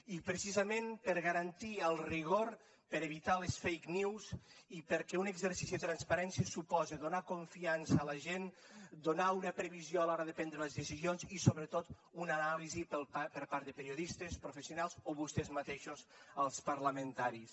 i precisament per a garantir el rigor per a evitar les fake news i perquè un exercici de transparència suposa donar confiança a la gent donar una previsió a l’hora de prendre les decisions i sobretot una anàlisi per part de periodistes professionals o vostès mateixos els parlamentaris